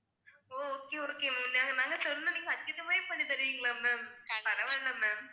ஓ okay ma'am okay நாங்க சொன்னோம் நீங்க அதுக்கு ஏத்தமாரி பண்ணி தருவீங்களா ma'am பரவால்ல ma'am